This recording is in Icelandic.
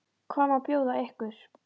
Hvað má bjóða ykkur?